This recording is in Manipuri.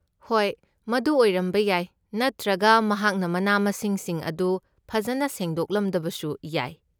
ꯍꯣꯏ, ꯃꯗꯨ ꯑꯣꯏꯔꯝꯕ ꯌꯥꯏ ꯅꯠꯇ꯭ꯔꯒ ꯃꯍꯥꯛꯅ ꯃꯅꯥ ꯃꯁꯤꯡꯁꯤꯡ ꯑꯗꯨ ꯐꯖꯅ ꯁꯦꯡꯗꯣꯛꯂꯝꯗꯕꯁꯨ ꯌꯥꯏ꯫